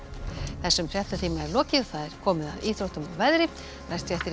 þessum fréttatíma er lokið og komið að íþróttum og veðri næstu fréttir